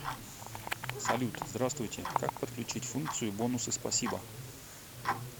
салют здравствуйте как подключить функцию бонусы спасибо